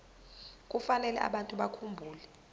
kufanele abantu bakhumbule